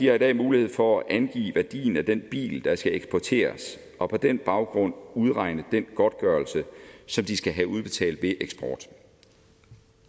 har i dag mulighed for at angive værdien af den bil der skal eksporteres og på den baggrund udregne den godtgørelse som de skal have udbetalt ved eksport